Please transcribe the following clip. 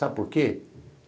Sabe por quê?